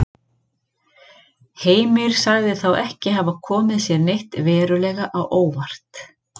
Heimir sagði þá ekki hafa komið sér neitt verulega á óvart.